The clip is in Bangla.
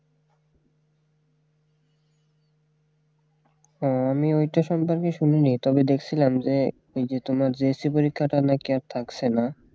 হ্যাঁ আমি ওইটার সম্পর্কে শুনিনি তবে দেখছিলাম যে ওই যে তোমার JAC পরীক্ষাটা নাকি আর থাকছে না